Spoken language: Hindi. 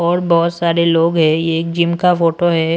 और बहुत सारे लोग हैं ये एक जिम का फोटो है।